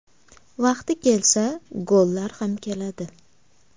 Vaqti kelsa, gollar ham keladi.